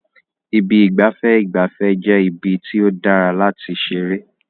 Ibi ìgbafẹ́ ìgbafẹ́ jẹ́ ibi tí ó dára láti ṣeré.